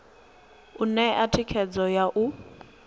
u ṋea thikhedzo ya u